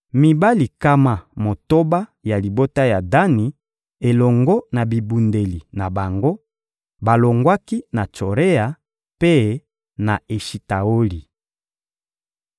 Mibali nkama motoba ya libota ya Dani, elongo na bibundeli na bango, balongwaki na Tsorea mpe na Eshitaoli.